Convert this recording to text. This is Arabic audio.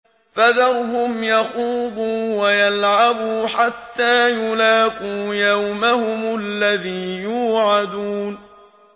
فَذَرْهُمْ يَخُوضُوا وَيَلْعَبُوا حَتَّىٰ يُلَاقُوا يَوْمَهُمُ الَّذِي يُوعَدُونَ